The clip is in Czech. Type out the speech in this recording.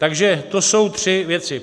Takže to jsou tři věci.